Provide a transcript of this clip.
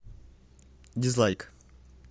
дизлайк